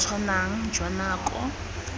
bo bo tshwanang jwa nako